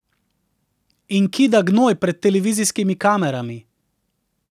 In kida gnoj pred televizijskimi kamerami.